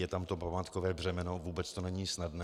Je tam to pohádkové břemeno, vůbec to není snadné.